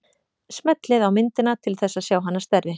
Smellið á myndina til þess að sjá hana stærri.